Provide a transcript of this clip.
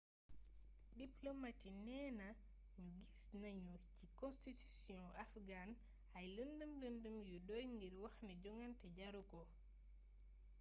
diplomat yi neena ñu gis nañu ci konstitusiyong afghan ay lëndëm lëndëm yu doy ngir wax ne jongante jaru ko